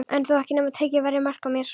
En ekki þó nema tekið væri mark á mér.